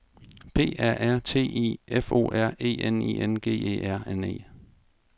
P A R T I F O R E N I N G E R N E